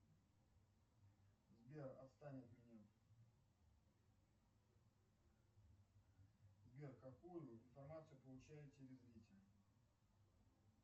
сбер отстань от меня сбер какую информацию получают телезрители